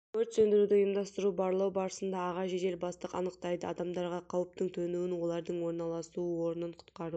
өрт сөндіруді ұйымдастыру барлау барысында аға жедел бастық анықтайды адамдарға қауіптің төнуін олардың орналасу орнын құтқару